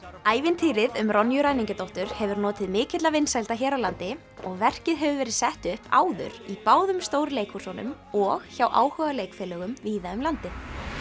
ævintýrið um Ronju ræningjadóttur hefur notið mikilla vinsælda hér á landi og verkið hefur verið sett upp áður í báðum stóru leikhúsunum og hjá áhugaleikfélögum víða um landið